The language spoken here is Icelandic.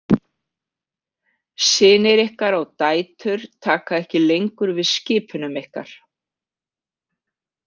Synir ykkar og dætur taka ekki lengur við skipunum ykkar.